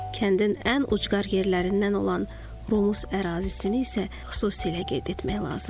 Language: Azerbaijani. Kəndin ən ucqar yerlərindən olan Rumus ərazisini isə xüsusilə qeyd etmək lazımdır.